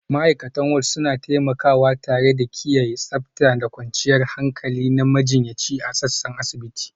Ma'aikatan Ward suna taimakawa tare da kiyaye tsabta da kwanciyar hankali na majiyyaci a sassan asibiti